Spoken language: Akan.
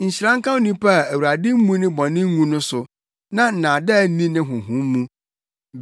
Nhyira nka onipa a Awurade mmu ne bɔne ngu no so na nnaadaa nni ne honhom mu.